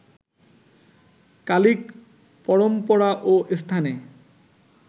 কালিক পরম্পরা ও স্থানে